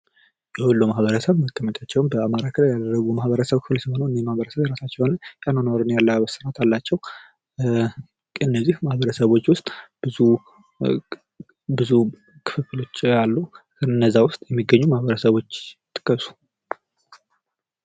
የወሎ ማህበረሰብ መቀመጫው በአማራ ክልል ያደረጉ የማህበረሰብ ክፍሎች ሲሆኑ እኚህ ማህበረሰብ የራሳቸው የሆነ የአለባበስ ስርአት አላቸው። ከእነዚህ ማህበረሰቦች ዉስጥ ብዙ ክፍሎች አሉ ከነዛ ዉስጥ የሚገኙ ማህበረሰቦች ጥቀሱ?